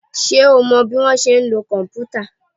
Ṣé o mọ bọ́ ṣe ń lo kòmpútà?